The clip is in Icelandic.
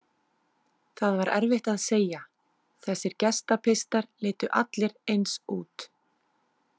Það var erfitt að segja, þessir Gestapistar litu allir eins út.